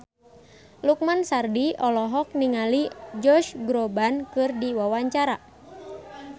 Lukman Sardi olohok ningali Josh Groban keur diwawancara